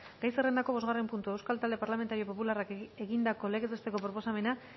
gai zerrendako bosgarren puntua euskal talde parlamentario popularrak egindako legez besteko proposamena